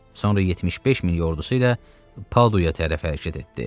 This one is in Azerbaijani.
Sonra 75 min ordusu ilə Paduya tərəf hərəkət etdi.